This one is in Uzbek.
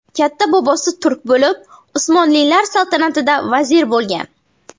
Katta bobosi turk bo‘lib, Usmonlilar saltanatida vazir bo‘lgan.